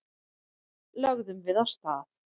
Lögðum við af stað.